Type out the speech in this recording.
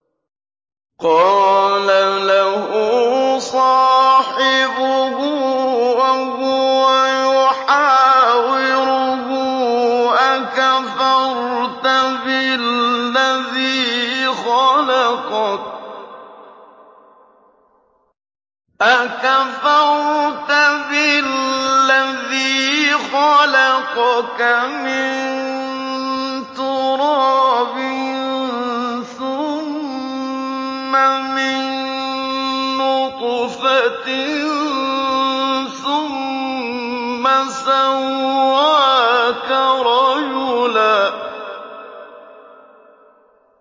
قَالَ لَهُ صَاحِبُهُ وَهُوَ يُحَاوِرُهُ أَكَفَرْتَ بِالَّذِي خَلَقَكَ مِن تُرَابٍ ثُمَّ مِن نُّطْفَةٍ ثُمَّ سَوَّاكَ رَجُلًا